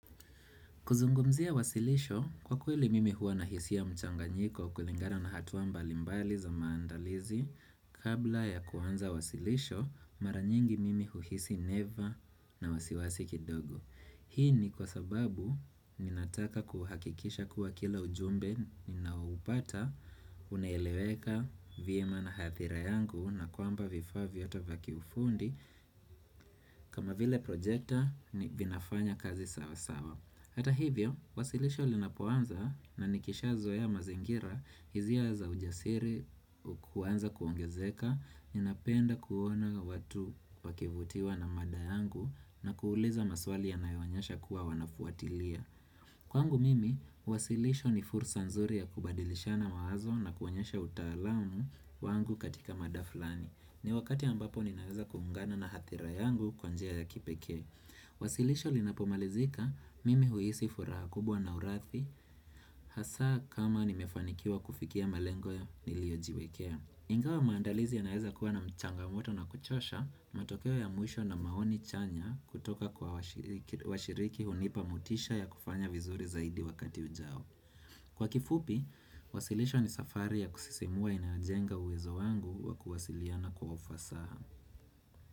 Kuzungumzia wasilisho, kwa kweli mimi huwa nahisia ya mchanganyiko kulingana na hatuwa mbalimbali za maandalizi, kabla ya kuanza wasilisho, mara nyingi mimi uhisi neva na wasiwasi kidogo. Hii ni kwa sababu ninataka kuhakikisha kuwa kila ujumbe ninao upata, unaeleweka vyema na nathira yangu na kwamba vifaa vyataka kiufundi kama vile projekta ni vinafanya kazi sawa sawa. Hata hivyo, wasilisho linapoanza na nikisha zoe ya mazingira, hizia za ujasiri, kuanza kuongezeka, ninapenda kuona watu wakivutiwa na mada yangu na kuuliza maswali yanayoonyesha kuwa wanafuatilia. Kwangu mimi, wasilisho ni fursa nzuri ya kubadilishana mawazo na kuonyesha utalamu wangu katika mada fulani. Ni wakati ambapo ninaweza kuhungana na hathira yangu kwa njia ya kipekee. Wasilisho linapomalizika mimi huisi furaha kubwa na urathi Hasa kama nimefanikiwa kufikia malengo niliojiwekea Ingawa maandalizi yanaeza kuwa na changamoto na kuchosha matokeo ya mwisho na maoni chanya kutoka kwa washiriki hunipa motisha ya kufanya vizuri zaidi wakati ujao Kwa kifupi, wasilisho ni safari ya kusisimua inayojenga uwezo wangu wa kuwasiliana kwa ufasaha.